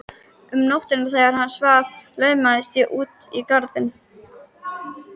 Um nóttina þegar hann svaf laumaðist ég út í garðinn.